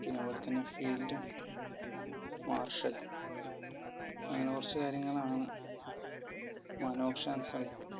പിന്നെ അതുപോലെത്തന്നെ field martiol അങ്ങനെ കുറച്ചു കാര്യങ്ങൾ ആണ്